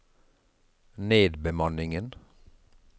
nedbemanningen